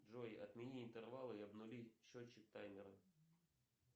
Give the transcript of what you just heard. джой отмени интервалы и обнули счетчик таймера